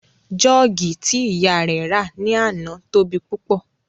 Jọ́ọ̀gì tí ìyá rẹ̀ rà ní àná tóbi púpọ̀